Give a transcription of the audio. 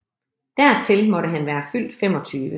Dertil måtte han være fyldt 25